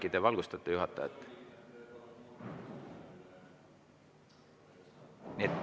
Äkki te valgustate juhatajat?